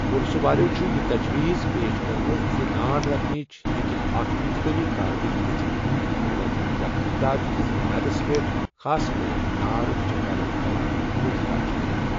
پٕلسہٕ والٮ۪و چھُ یہِ تجوِیٖز پیش کٔرمٕژ زِ نار لگنٕچ ہٮ۪کہِ اکھ انتقٲمی کاروٲیی گٔژتھ، شروٗعٲتی تحقیقات کِس بُنیادَس پٮ۪ٹھ، خاص پٲٹھۍ نار وٕچھن والٮ۪ن گواہَن پوٗچھ تاچھ کٔرِتھ۔